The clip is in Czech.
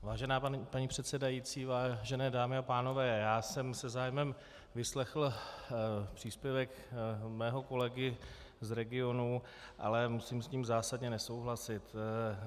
Vážená paní předsedající, vážené dámy a pánové, já jsem se zájmem vyslechl příspěvek svého kolegy z regionu, ale musím s ním zásadně nesouhlasit.